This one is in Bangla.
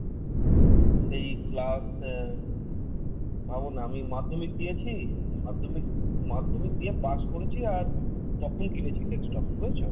সেই class আহ ভাবনা আমি মাধ্যমিক দিয়েছি, মাধ্যমিক মাধ্যমিক দিয়ে পাশ করেছি আর তখন কিনেছি desktop। বুঝেছো?